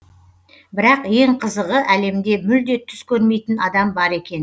бірақ ең қызығы әлемде мүлде түс көрмейтін адам бар екен